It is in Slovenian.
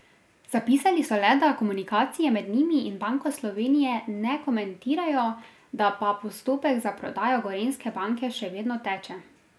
Zapisali so le, da komunikacije med njimi in Banko Slovenije ne komentirajo, da pa postopek za prodajo Gorenjske banke še vedno teče.